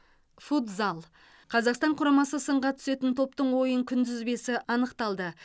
футзал қазақстан құрамасы сынға түсетін топтың ойын күнтізбесі анықталды